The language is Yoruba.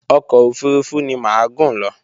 Ọkọ̀ òfurufú ni mà á gùn lọ